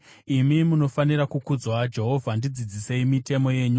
Imi munofanira kukudzwa, Jehovha; ndidzidzisei mitemo yenyu.